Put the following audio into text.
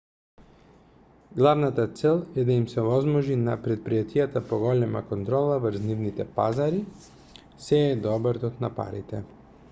главната цел е да им се овозможи на претпријатијата поголема контрола врз нивните пазари; сѐ е до обртот на парите